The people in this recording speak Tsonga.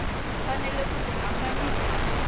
fanele ku tihambanyisa na mintirho